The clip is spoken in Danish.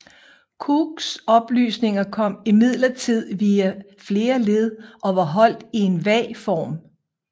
Cooks oplysninger kom imidlertid via flere led og var holdt i en vag form